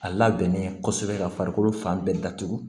A labɛnnen kɔsɛbɛ ka farikolo fan bɛɛ datugu